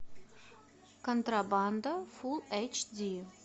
контрабанда фулл эйч ди